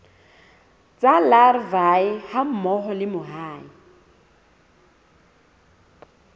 tsa larvae hammoho le mahe